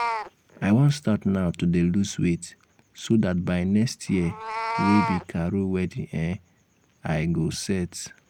i wan start now to dey lose weight so dat by next year wey be carol wedding um i go set